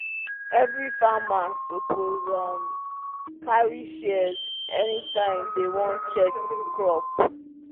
every farmer suppose um carry shears anytime dem wan check crop.